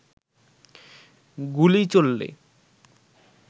গুলি চললে